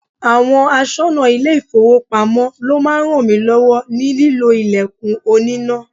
Àwọn aṣọnà ile-ifowopamo ló máa ń rànmilọ́wọ́ ní lílo ilẹ̀kùn oníná.